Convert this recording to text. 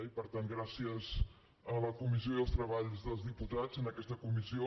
i per tant gràcies a la comissió i als treballs dels diputats en aquesta comissió